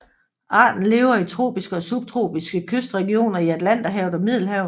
Arten lever i tropiske og subtropiske kystregioner i Atlanterhavet og Middelhavet